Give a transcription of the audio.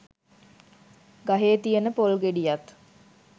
ගහේ තියෙන පොල් ගෙඩියත්